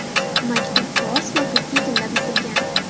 Maktub fors va turkiy tilda bitilgan.